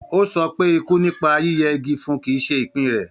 Ó sọ pé ikú nípa yíyẹ igi fun kì í ṣe ìpín rẹ̀.